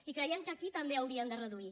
i creiem que aquí també haurien de reduir